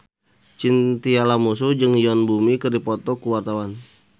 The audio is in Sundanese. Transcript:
Chintya Lamusu jeung Yoon Bomi keur dipoto ku wartawan